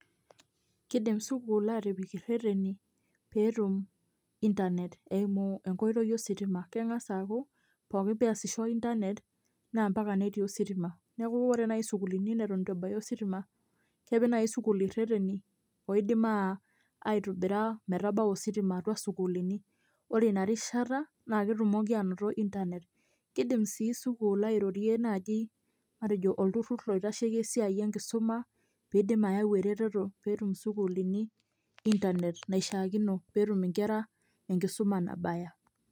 Kidim sukuul aatipik irrereni pee etum internet eimu enkoitoi ositima keng'as aaku pooki pee esisho internet naa mpaka netii ositima, neeku ore nai sukuulini neton itu ebaya ositima kepik naai sukuul irrereni oidim aitobira metabau ositima atua isukuulini ore ina rishata naa ketumoki aanoto internet, kiidim sii sukuul airorie naaji matejo olturrur oitasheiki esiai enkisuma pee eidim ayau eretoto pee etum sukuulini internet naishiakino pee etum nkera enkisuma nabaya.